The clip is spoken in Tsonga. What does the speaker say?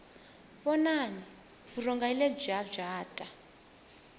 vonani vurhonga hi lebyiya bya ta